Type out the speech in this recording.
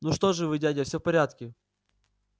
ну что вы дядя всё в порядке